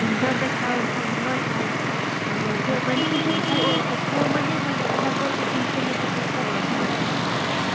ତ ଦେଖା ଯାଉଛି ସମସ୍ତେ ପୁଅମାନେ ଯୋଉ ପୁଅମାନେ ଭଲ ଦେଖାଯାଉଥିଲେ ତାଙ୍କର ଯୋଉ ପିନ୍ଧିଥିଲେ ସବୁ କପଡା କୁ